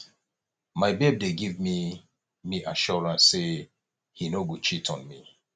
my babe dey give me me assurance say he no go cheat on me